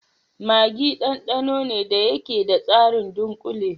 Maggi ɗanɗano ne da yake da tsarin dunkule.